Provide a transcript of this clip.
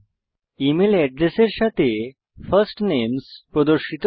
email এড্রেসের সাথে first names প্রদর্শিত হয়